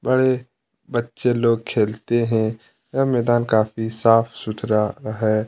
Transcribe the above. बड़े बच्चे लोग खेलते है यह मैदान काफी साफ़ सुथरा है।